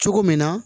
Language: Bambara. Cogo min na